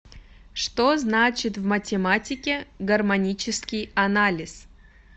что значит в математике гармонический анализ